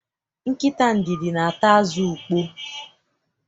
Nkịta ndidi na-ata azụ ukpoo.